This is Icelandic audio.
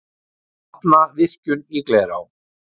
Hafna virkjun í Glerá